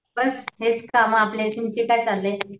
बस हे कामं आपली तुमचं काय चाललंय?